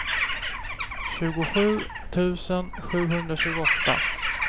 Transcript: tjugosju tusen sjuhundratjugoåtta